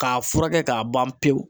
K'a furakɛ k'a ban pewu.